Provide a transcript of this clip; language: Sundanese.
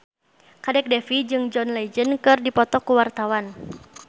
Kadek Devi jeung John Legend keur dipoto ku wartawan